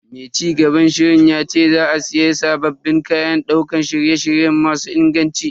Mai cigaban shirin yace za a siya sabbin kayan daukar shirye-shirye masu inganci.